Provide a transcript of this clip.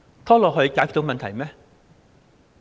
拖延可以解決到問題嗎？